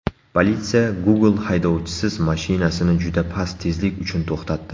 Politsiya Google haydovchisiz mashinasini juda past tezlik uchun to‘xtatdi.